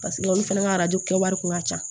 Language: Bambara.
Paseke olu fana ka arajo kɛ wari kun ka ca